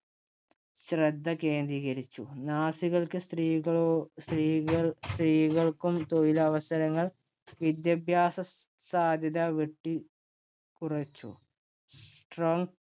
ശ്രദ്ധ കേന്ദ്രീകരിച്ചു. നാസികൾക്ക് സ്ത്രീകളോ സ്ത്രീകള്‍ സ്ത്രീകള്‍ക്കും തൊഴിലവസരങ്ങള്‍ വിദ്യാഭ്യാസസാധ്യത വെട്ടി ക്കുറച്ചു. Strength